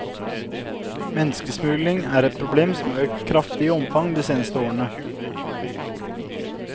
Menneskesmugling er et problem som har økt kraftig i omfang de seneste årene.